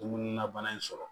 Dumuni na bana in sɔrɔ